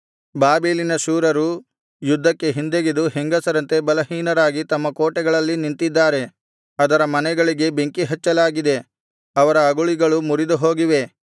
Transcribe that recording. ಬಾಬೆಲಿನ ಶೂರರು ಯುದ್ಧಕ್ಕೆ ಹಿಂದೆಗೆದು ಹೆಂಗಸರಂತೆ ಬಲಹೀನರಾಗಿ ತಮ್ಮ ಕೋಟೆಗಳಲ್ಲಿ ನಿಂತಿದ್ದಾರೆ ಅದರ ಮನೆಗಳಿಗೆ ಬೆಂಕಿ ಹಚ್ಚಲಾಗಿದೆ ಅವರ ಅಗುಳಿಗಳು ಮುರಿದುಹೋಗಿವೆ